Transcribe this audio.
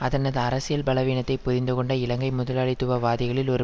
அதனது அரசியல் பலவீனத்தை புரிந்து கொண்ட இலங்கை முதலாளித்துவ வாதிகளில் ஒரு